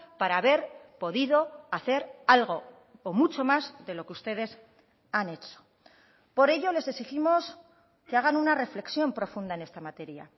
para haber podido hacer algo o mucho más de lo que ustedes han hecho por ello les exigimos que hagan una reflexión profunda en esta materia